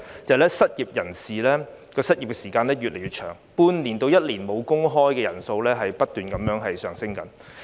第一，失業人士的失業時間越來越長，半年至一年"無工開"的人數不斷上升。